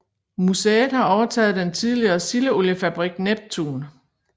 Museet har overtaget den tidligere sildeoliefabrik Neptun